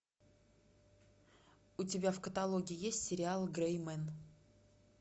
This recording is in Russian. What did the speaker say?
у тебя в каталоге есть сериал грэй мен